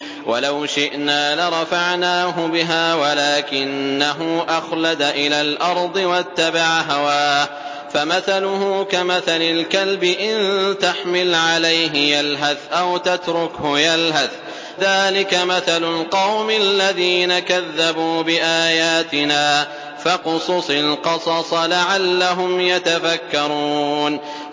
وَلَوْ شِئْنَا لَرَفَعْنَاهُ بِهَا وَلَٰكِنَّهُ أَخْلَدَ إِلَى الْأَرْضِ وَاتَّبَعَ هَوَاهُ ۚ فَمَثَلُهُ كَمَثَلِ الْكَلْبِ إِن تَحْمِلْ عَلَيْهِ يَلْهَثْ أَوْ تَتْرُكْهُ يَلْهَث ۚ ذَّٰلِكَ مَثَلُ الْقَوْمِ الَّذِينَ كَذَّبُوا بِآيَاتِنَا ۚ فَاقْصُصِ الْقَصَصَ لَعَلَّهُمْ يَتَفَكَّرُونَ